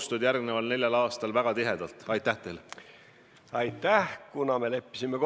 " Ja nüüd ma parafraseerin Lotmani küsimuse lõppu: kas teie usaldate sellist hüpoteetilist isikut pidama hüpoteetilise riigi siseministri ametit?